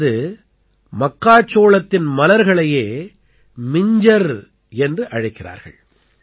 அதாவது மக்காச்சோளத்தின் மலர்களையே மிஞ்ஜர் என்று அழைக்கிறார்கள்